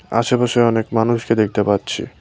আশেপাশে অনেক মানুষকে দেখতে পাচ্ছি।